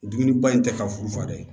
Dumuniba in tɛ ka furu fa dɛ